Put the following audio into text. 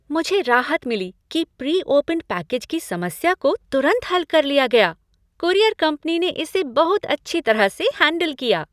मुझे राहत मिली कि प्री ओपेंड पैकेज की समस्या को तुरंत हल कर लिया गया। कूरियर कंपनी ने इसे बहुत अच्छी तरह से हैंडल किया।